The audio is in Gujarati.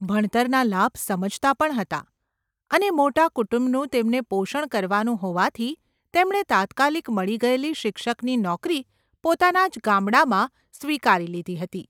ભણતરના લાભ સમજતા પણ હતા, અને મોટા કુટુંબનું તેમને પોષણ કરવાનું હોવાથી તેમણે તાત્કાલિક મળી ગયેલી શિક્ષકની નોકરી પોતાના જ ગામડામાં સ્વીકારી લીધી હતી.